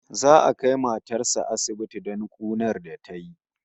Za'a kai matar sa asibiti don kunar da tayi